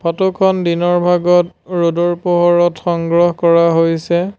Photo খন দিনৰ ভাগত ৰ'দৰ পোহৰত সংগ্ৰহ কৰা হৈছে।